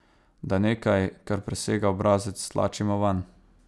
Da nekaj, kar presega obrazec, stlačimo vanj?